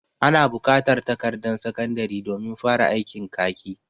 Ana bukatar takardan sakandari domin fara aikin kaki.